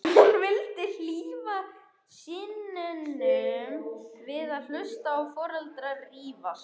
Hún vildi hlífa syninum við að hlusta á foreldrana rífast.